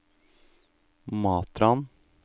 Matrand